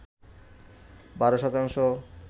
১২ শতাংশ